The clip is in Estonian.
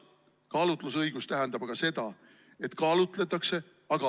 Kaalutlusõigus tähendab aga seda, et kaalutletakse.